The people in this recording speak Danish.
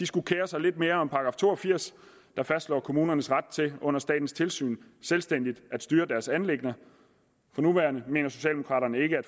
skulle kere sig lidt mere om § to og firs der fastslår kommunernes ret til under statens tilsyn selvstændigt at styre deres anliggender for nuværende mener socialdemokraterne ikke at